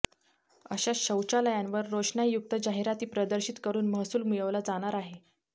अशा शौचालयांवर रोषणाईयुक्त जाहिराती प्रदर्शित करून महसूल मिळवला जाणार आहे